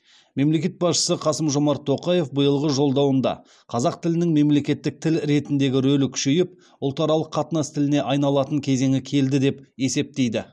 мемлекет басшысы қасым жомарт тоқаев биылғы жолдауында қазақ тілінің мемлекеттік тіл ретіндегі рөлі күшейіп ұлтаралық қатынас тіліне айналатын кезеңі келді деп есептейді